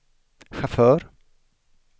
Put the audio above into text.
chaufför